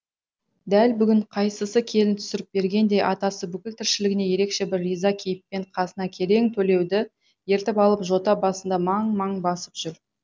дәл бүгін қайсасы келін түсіріп бергендей атасы бүкіл тіршілігіне ерекше бір риза кейіппен қасына керең төлеуді ертіп алып жота басында маң маң басып жүр